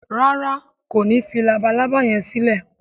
ràrá kò ní fí Labalábá yén silẹ?